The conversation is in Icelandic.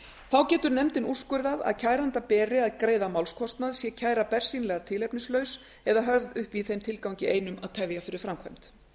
þá getur nefndin úrskurðað að kæranda beri að greiða málskostnað sé kæra bersýnilega tilefnislaus eða höfð uppi í þeim tilgangi einum að tefja fyrir framkvæmd